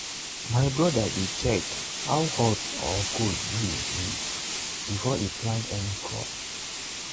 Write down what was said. my brother dey check how hot or cold breeze be before e plant any crop.